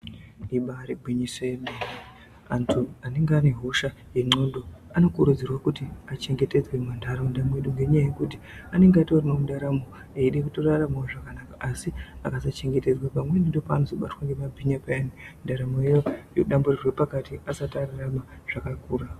Ibari gwinyiso yemene, antu anenge ane hosha yenxondo anokurudzirwe kuti achengetedzwe mumantaraunda mwedu ngenyaya yekuti anenge itoriwo nendaramo eyide kutoraramawo zvakanaka asi akasachengetedzwa pamweni ndopaanozobatwa ngemabhinya payani ndaramo yawo yodamburirwe pakati asati ararame zvakakura.